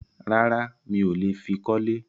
Rárá, mi ò le fi kọ́lé.